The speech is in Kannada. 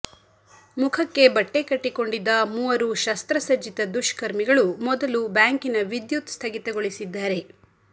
ಮುಖಕ್ಕೆ ಬಟ್ಟೆ ಕಟ್ಟಿಕೊಂಡಿದ್ದ ಮೂವರು ಶಸ್ತ್ರಸಜ್ಜಿತ ದುಷ್ಕರ್ಮಿಗಳು ಮೊದಲು ಬ್ಯಾಂಕಿನ ವಿದ್ಯುತ್ ಸ್ಥಗಿತಗೊಳಿಸಿದ್ದಾರೆ